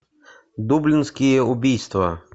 дублинские убийства